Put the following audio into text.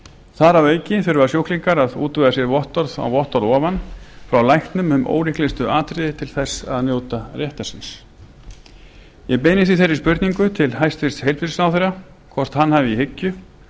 þar að auki þurfa sjúklingar að útvega sér vottorð á vottorð ofan frá læknum um ólíklegustu atriði til að njóta réttar síns ég beini því þeirri spurningu til hæstvirts heilbrigðisráðherra hvort hann hafi í hyggju